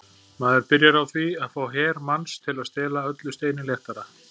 Maður byrjar á því að fá her manns til að stela öllu steini léttara.